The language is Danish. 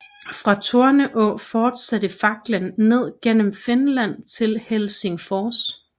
Fra Torneå fortsatte faklen ned gennem Finland til Helsingfors